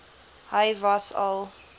hy was al